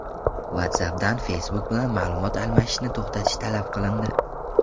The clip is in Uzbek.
WhatsApp’dan Facebook bilan ma’lumot almashishni to‘xtatish talab qilindi.